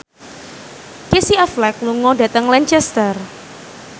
Casey Affleck lunga dhateng Lancaster